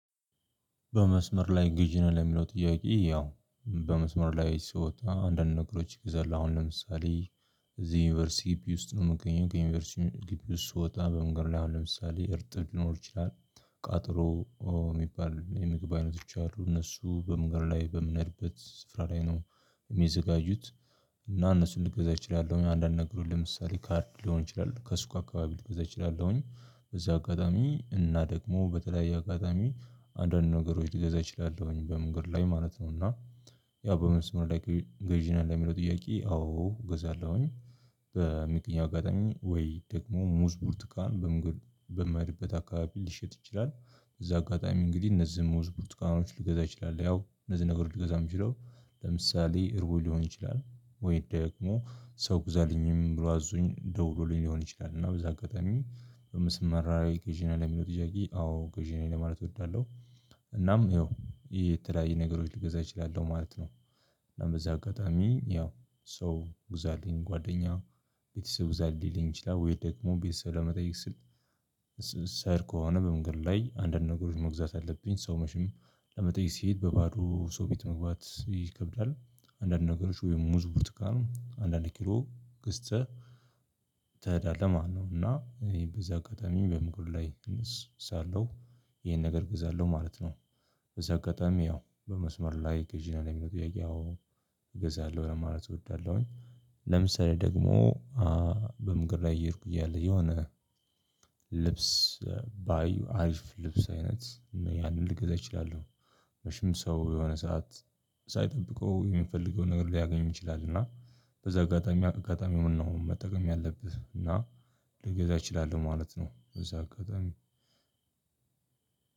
"በመስመር ላይ ግዢ ነው?" ለሚለው ጥያቄ፣ ያው በመስመር ላይ ስወጣ አንዳንድ ነገሮች እግዛለሁ። አሁን ለምሳሌ እዚህ ዩኒቨርሲቲ ግቢ ውስጥ ነው የምገኘው ከዩኒቨርሲቲ ግቢ ውስጥ ስወጣ በመንገድ ላይ አሁን ለምሳሌ እርጥብ ሊኖር ይችላል። ቃጠሎ የሚባል የምግብ አይነቶች አሉ እነሱ በመንገድ ላይ በምንሄድበት ስፍራ ላይ ነው የሚዘጋጁት እና እነሱን ልገዛ እችላለሁ እኔ አንዳንድ ነግሮች ለምሳሌ ካርድ ሊሆን ይችላል ከሱቅ አካባቢ ልገዛ እችላለሁኝ። በዚህ አጋጣሚ እና ደግሞ በተለያየ አጋጣሚ አንዳንድ ነገሮች ልገዛ እችላለሁኝ በመገድ ላይ ማለት ነው እና ያው "በመንስር ላይ ገዢ ነህ?" ለሚለው ጥያቄ አዎ ገዛለሁኝ። በሚገኘው አጋጣሚ ወይ ደግሞ ሙዝ፣ ብርቱካን በምሄድበት አካባቢ ሊሸጥ ይችላል። በዚህ አጋጣሚ እንግዲህ እነዚህ ሙዝ ብርቱካኖች ልገዛ እችላለው። እነዚህ ነገር ልገዛ የምችለው ለምሳሌ እርቦኝ ሊሆን ይችላል ወይ ደግሞ ሰው ግዛልኝም ብሎ አዞኝ ደውሎልኝ ሊሆን ይችላል፤ እና በዚህ አጋጣሚ "በመስመር ላይ ገዢ ነህ? ለሚለው ጥያቄ፣ አዎ ገዢ ነኝ ለማለት እወዳለሁ። እናም ያው የተለያየ ነገሮች ልገዛ እችላለሁ ማለት ነው። እናም በዚህ አጋጣሚ ያው ሰው ግዛልኝ ጓደኛ ቤተሰብ ግዛልኝ ሊለኝ ይችላል ወይ ደግሞ ቤተሰብ ለመጠየቅ ስል ስሄድ ከሆነ በመንገድ ላይ አንዳንድ ነገሮች መግዛት አለብኝ። ሰው መቼም ለመጠየቅ ሲሄድ በባዶ ሰው ቤት መግባት ይከብዳል። አንዳንድ ነገሮች ወይም ሙዝ ብርቱካን አንድ አንድ ኪሎ ገዝተህ ትሄዳለህ ማለት ነው እና በዚህ አጋጣሚ በምግብ ላይ እንስ ሳለሁ ይሄን ነገር እገዛለሁ ማለት ነው። በዚህ አጋጣሚ ያው በመስመር ላይ ገዢ ነህ ለሚለው ጥያቄ አዎ እገዛለሁ ለማለት እወዳለሁኝ። ለምሳሌ ደግሞ በመንገድ ላይ እየሄድኩኝ እያለ የሆነ ልብስ ባይ አሪፍ ልብስ አይነት ያንን ልገዛ እችላለሁ። መቼም ሰው የሆነ ሰዓት ሳይጠብቀው የሚፈልገውን ነገር ሊያገኝ ይችላል፤ እና በዛ አጋጣሚ አጋጣሚውን ነው መጠቀም ያለብህ እና ልገዛ እችላለሁ ማለት ነው በዚህ አጋጣሚ።